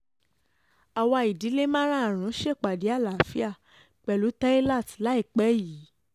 àwa ìdílé márààrún ṣèpàdé àlàáfíà pẹ̀lú teilat láìpẹ́ yìí